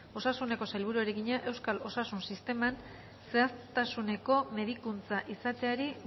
osasuneko sailburuari egina euskal osasun sisteman zehaztasuneko medikuntza izateari